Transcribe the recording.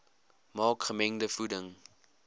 maak gemengde voeding